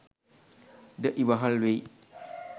ද ඉවහල් වෙයි.